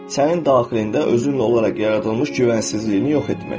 Sənin daxilində özünlə olaraq yaradılmış güvənsizliyini yox etmək.